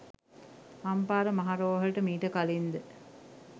අම්පාර මහා රෝහලට මීට කලින්ද